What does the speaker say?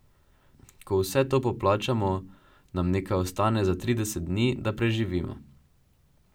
Ko vse to poplačamo, nam nekaj ostane za trideset dni, da preživimo.